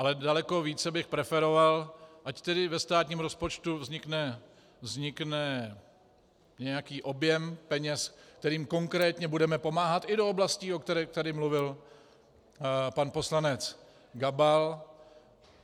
Ale daleko více bych preferoval, ať tedy ve státním rozpočtu vznikne nějaký objem peněz, kterým konkrétně budeme pomáhat i do oblastí, o kterých tady mluvil pan poslanec Gabal.